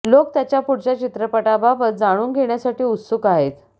लोक त्याच्या पुढच्या चित्रपटाबाबत जाणून घेण्यासाठी उत्सुक आहेत